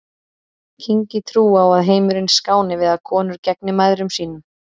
Kyngi trú á að heimurinn skáni við að konur gegni mæðrum sínum.